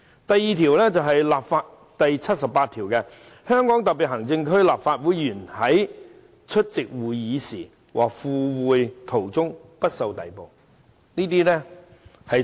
"另一項是《基本法》第七十八條，該條訂明："香港特別行政區立法會議員在出席會議時和赴會途中不受逮捕。